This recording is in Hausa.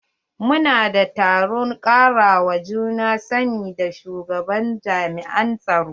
Mu na da taron karawa juna sani da shugaban jami'in tsaro.